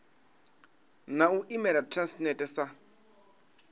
na u imela transnet sa